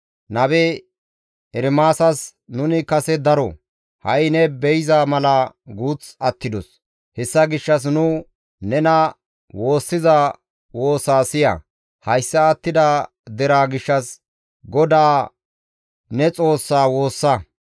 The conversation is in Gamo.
nabe Ermaasas, «Nuni kase daro, ha7i ne be7iza mala guuth attidos; hessa gishshas nu nena woossiza woosa siya; hayssa attida deraa gishshas GODAA ne Xoossaa woossa.